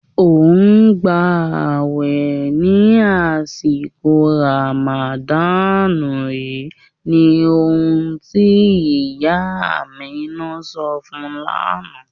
Ọ n gbà ààwè ni àṣìkò Ràmádán yìí ní ọ̀hun tí ìyá Àmínà sọ̀ fún ún lánà.